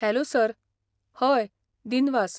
Hello sir! हय, दिनवास